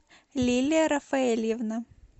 лилия рафаэльевна